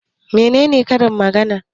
Mene ne Karin magana?